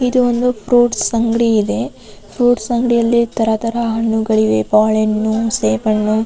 ಇದು ಒಂದು ಫ್ರುಇಟ್ಸ್ ಅಂಗಡಿ ಇದೆ ಫ್ರುಇಟ್ಸ್ ಅಂಗಡಿಯಲ್ಲಿ ತರ ತರ ಹಣ್ಣುಗಳಿವೆ ಬಾಳೆಹಣ್ಣು ಸೇಬುಹಣ್ಣು --